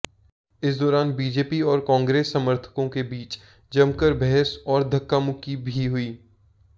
इस दौरान बीजेपी और कांग्रेस समर्थकों के बीच जमकर बहस और धक्का मुक्की भी हुई